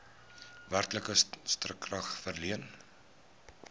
werklike stukrag verleen